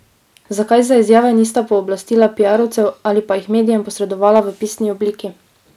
Zakaj za izjave nista pooblastila piarovcev ali pa jih medijem posredovala v pisni obliki?